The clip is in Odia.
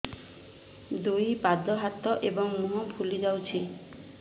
ଦୁଇ ପାଦ ହାତ ଏବଂ ମୁହଁ ଫୁଲି ଯାଉଛି